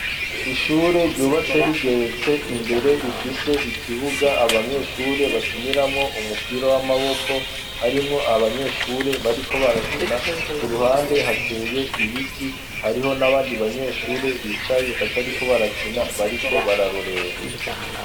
Ishure ryubatse rigeretse imbere rifise ikibuga abanyeshure bakiniramo umupira w'amaboko harimo abanyeshure bariko barakina ku ruhande hateye ibiti hariho n'abandi banyeshure bicaye batariko barakina bariko bararorera.